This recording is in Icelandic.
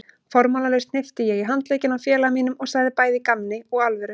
Formálalaust hnippti ég í handlegginn á félaga mínum og sagði bæði í gamni og alvöru